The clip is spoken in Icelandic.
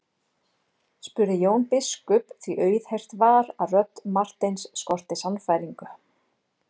spurði Jón biskup því auðheyrt var að rödd Marteins skorti sannfæringu.